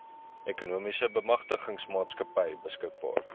ekonomiese bemagtigingsmaatskappy beskikbaar